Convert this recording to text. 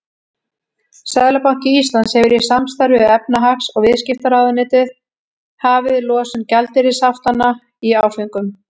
Seðlabanki Íslands hefur í samstarfi við efnahags- og viðskiptaráðuneytið hafið losun gjaldeyrishaftanna í áföngum.